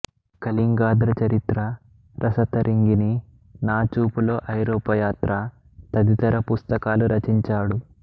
కళింగాధ్ర చరిత్ర రస తరంగిణి నా చూపులో ఐరోపా యాత్ర తదితర పుస్తకాలు రచించాడు